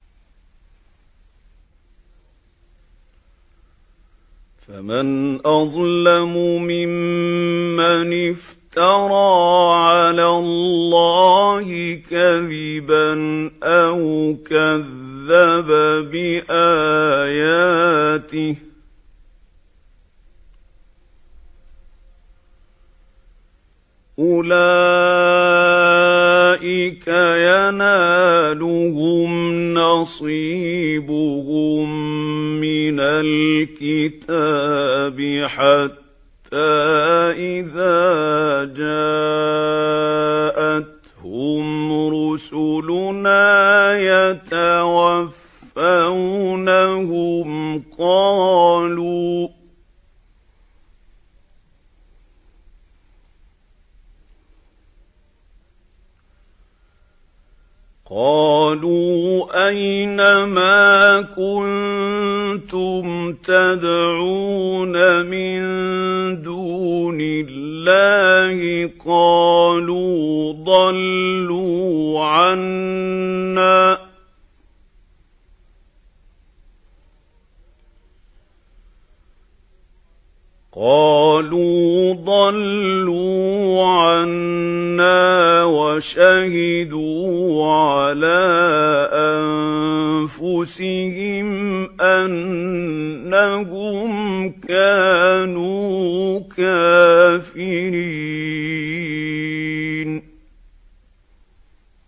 فَمَنْ أَظْلَمُ مِمَّنِ افْتَرَىٰ عَلَى اللَّهِ كَذِبًا أَوْ كَذَّبَ بِآيَاتِهِ ۚ أُولَٰئِكَ يَنَالُهُمْ نَصِيبُهُم مِّنَ الْكِتَابِ ۖ حَتَّىٰ إِذَا جَاءَتْهُمْ رُسُلُنَا يَتَوَفَّوْنَهُمْ قَالُوا أَيْنَ مَا كُنتُمْ تَدْعُونَ مِن دُونِ اللَّهِ ۖ قَالُوا ضَلُّوا عَنَّا وَشَهِدُوا عَلَىٰ أَنفُسِهِمْ أَنَّهُمْ كَانُوا كَافِرِينَ